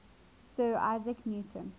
sir isaac newton